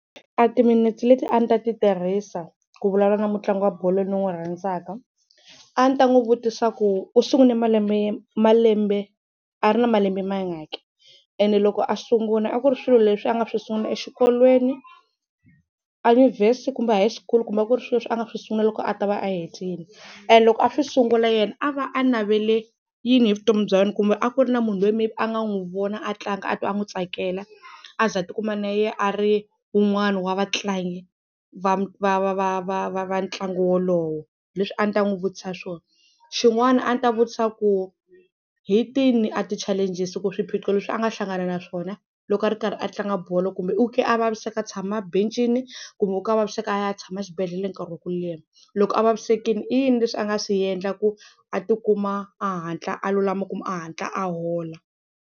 A timinete leti a ni ta ti tirhisa ku vulavula na mutlangi wa bolo ni n'wi rhandzaka a ni ta n'wi vutisa ku u sungule malembe malembe a ri na malembe mangaki ene loko a sungula a ku ri swilo leswi a nga swi sungula exikolweni, enyuvhesi kumbe high school kumbe a ku ri swilo leswi a nga swi sungula loko a ta va hetile. And loko a swi sungula yena a va a navele yini hi vutomi bya yena kumbe a ku ri na munhu loyi maybe a nga n'wi vona a tlanga a twa a n'wi tsakela a za a tikuma na yena a ri un'wana wa vatlangi va va va va va ntlangu wolowo. Leswi a ndzi ta n'wi vutisa swona. Xin'wana a ni ta vutisa ku hi tini a ti-challenges ku swiphiqo leswi a nga hlangana na swona loko a ri karhi a tlanga bolo kumbe u ke a vaviseka tshama bencini kumbe u ke a vaviseka a ya tshama xibedhlele nkarhi wa ku leha. Loko a vavisekile i yini leswi a nga swi endla ku a ti kuma a hatla a lulama kumbe a hatla a hola.